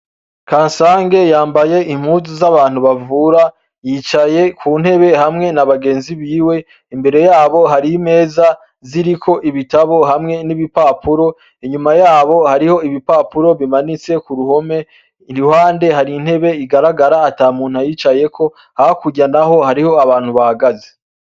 Kasange yambaye impuzu z'abantu bavura yicaye ku ntebe hamwe n'abagenzi biwe, imbere yabo hari imeza ziriko ibitabo hamwe n'ibipapuro, inyuma yabo hari ibipapuro bimanitse k'uruhome, iruhande hari intebe igaragara ata muntu ayicayeko, hakurya naho hariho abantu bahahagaze.